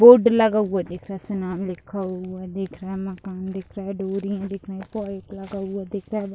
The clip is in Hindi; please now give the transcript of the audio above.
बोर्ड लगा हुआ दिख रहा है उसमे नाम लिखा हुआ दिख रहा है मकान दिख रहा है डोरिया दिख रही पाइप लगा हुआ दिख रहा है।